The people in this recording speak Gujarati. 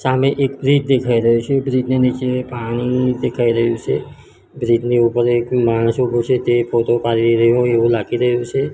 સામે એક બ્રિજ દેખાઈ રહ્યો છે બ્રિજ ની નીચે પાણી દેખાઈ રહ્યું છે બ્રિજ ની ઉપર એક માણસ ઉભો છે તે ફોટો પાડી રહી હોય એવું લાગી રહ્યું છે.